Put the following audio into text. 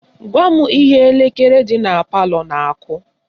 Gwa m ihe elekere dị na palọ na-akụ